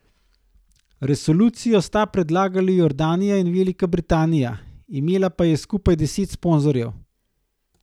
Resolucijo sta predlagali Jordanija in Velika Britanija, imela pa je skupaj deset sponzorjev.